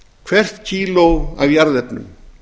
hvert kíló af jarðefnum